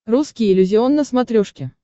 русский иллюзион на смотрешке